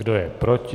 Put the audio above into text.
Kdo je proti?